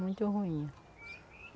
Muito ruim.